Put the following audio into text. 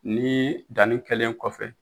Nii danni kɛlen kɔfɛ